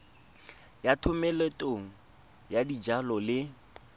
ya thomeloteng ya dijalo le